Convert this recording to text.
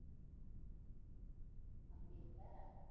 அப்படின்ற